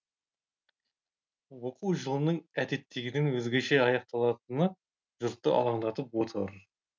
оқу жылының әдеттегіден өзгеше аяқталатыны жұртты алаңдатып отыр